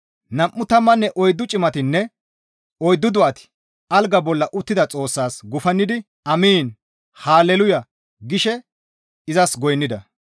Nam7u tammanne oyddu cimatinne oyddu do7ati alga bolla uttida Xoossaas gufannidi, «Amiin, Hale luuya!» gishe izas goynnida.